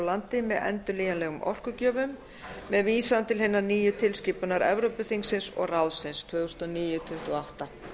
landi með endurnýjanlegum orkugjöfum með vísan til hinnar nýju tilskipunar evrópuþingsins og ráðsins tvö þúsund og níu tuttugu og átta